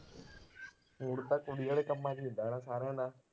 Mood ਤਾਂ ਕੁੜੀ ਵਾਲੇ ਕੰਮਾਂ ਚ ਹੀ ਹੁੰਦਾ ਨਾ ਸਾਰਿਆਂ ਦਾ